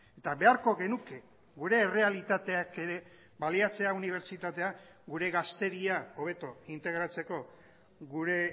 eta beharko genuke gure errealitateak ere baliatzea unibertsitatea gure gazteria hobeto integratzeko gure